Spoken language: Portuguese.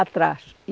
Atrás e.